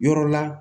Yɔrɔ la